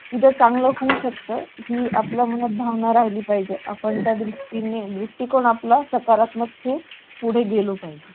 द्या चांगलं होऊ शकतं की आपल्या मनात भावना राहिली पाहिजे आपण त्या त्या सृष्टी ने दृष्टीकोन आपलं स्कारात्मक पुढे गेलो पाहिजे